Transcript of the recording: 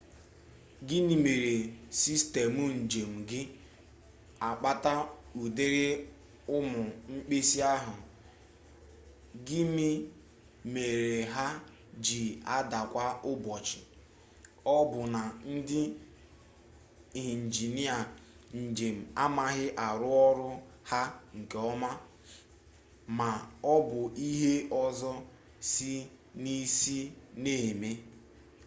gịnị mere sistemụ njem ji akpata ụdịrị ụmụ mkpesa ahụ gịmị mere ha ji ada kwa ụbọchị ọ bụ na ndị injinịa njem amaghị arụ ọrụ ha nke ọma ma ọ bụ ihe ọzọ si n'isi na-eme